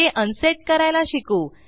ते अनसेट करायला शिकू